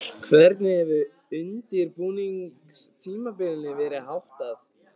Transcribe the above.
Hvernig hefur undirbúningstímabilinu verið háttað?